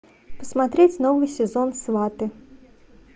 посмотреть новый сезон сваты